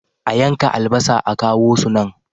A yanka albasa a kawo su nan.